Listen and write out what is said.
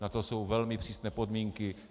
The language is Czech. Na to jsou velmi přísné podmínky.